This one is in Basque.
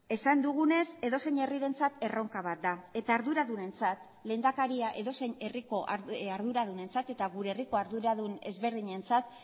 esan dugunez edozein herrirentzat erronka bat da eta arduradunentzat lehendakaria edozein herriko arduradunentzat eta gure herriko arduradun ezberdinentzat